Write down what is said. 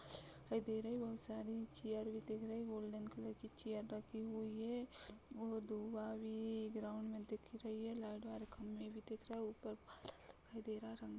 खाई दे रहे है बहुत सारे चेयर भी दिख रही है गोल्डन कलर की चेयर रखी हुई है और धुआँ भी ग्राउंड में दिख रही है लाइट वाले खम्भे भी दिख रहे है ऊपर बादल दिखाई दे रहा है।